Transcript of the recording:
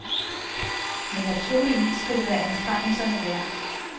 Men naturligvis skal det være anstrengelserne værd.